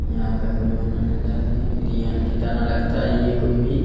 यहाँ पे कुछ बनाना चाहते हैं बिरयानी की तरह लगता है ये कुछ भी।